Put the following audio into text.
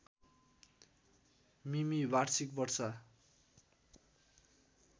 मिमि वार्षिक वर्षा